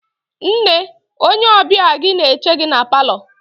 Nne, onye ọbịa gị na-eche gị na paalọ.